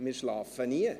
Wir schlafen nie!